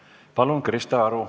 Palun, Krista Aru!